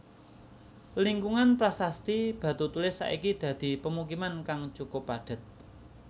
Lingkungan Prasasti Batutulis saiki dadi pemukiman kang cukup padhet